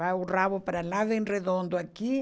Vai o rabo para lá, vem redondo aqui.